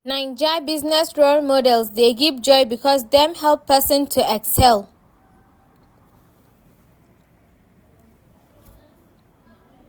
Naija business role models dey give joy becuase dem dey help pesin to excel.